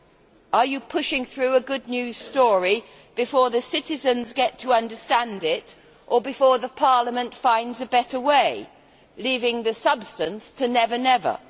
Is it a question of pushing through a good news story before the citizens get to understand it or before Parliament finds a better way, leaving the substance to never never?